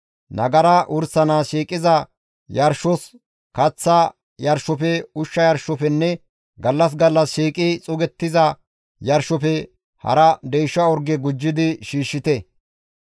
Nagara wursanaas shiiqiza yarshos, kaththa yarshofe, ushsha yarshofenne gallas gallas shiiqi xuugettiza yarshofe hara deysha orge gujjidi shiishshite.